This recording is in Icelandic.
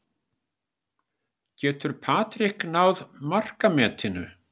Getur Patrick náð markametinu?